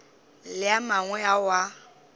le a mangwe ao a